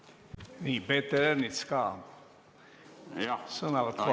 Nii, Peeter Ernits, sõnavõtt kohalt.